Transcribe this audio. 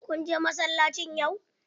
Kun je masallaci yau?